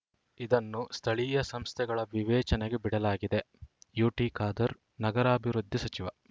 ಇದನ್ನು ಸ್ಥಳೀಯ ಸಂಸ್ಥೆಗಳ ವಿವೇಚನೆಗೆ ಬಿಡಲಾಗಿದೆ ಯುಟಿ ಖಾದರ್‌ ನಗರಾಭಿವೃದ್ಧಿ ಸಚಿವ